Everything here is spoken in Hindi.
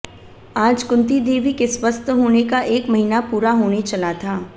आज कुंती देवी के स्वस्थ होने का एक महीना पूरा होने चला था